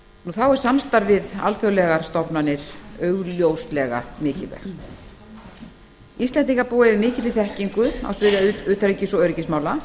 er samstarf við alþjóðlegar stofnanir augljóslega mikilvægt íslendingar búa yfir mikilli þekkingu á sviði utanríkis og öryggismála